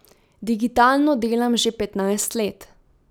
Digitalno delam že petnajst let.